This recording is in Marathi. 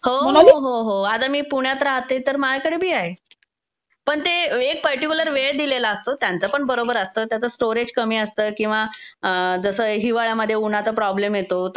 हो, हो, अग मी पुण्यात राहते तर मायाकडं बी आहे. तसं पण ते एक पर्टीकुलर वेळ दिलेली असते. त्यांचा पण बरोबर असता त्याच स्टोरेज कमी असत किंवा जसं हिवाळ्यामध्ये उन्हाचा प्रॉब्लेम येतो,